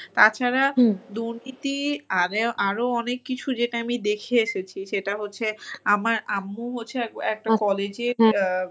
তাছাড়া দুর্নীতি আরো অনেক কিছু যেটা আমি দেখে এসেছি সেটা হচ্ছে আমার আম্মু হচ্ছে একটা college এর